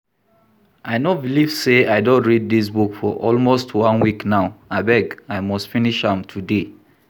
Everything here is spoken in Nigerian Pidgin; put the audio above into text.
I no believe say I don read dis book for almost one week now. Abeg I must finish am today.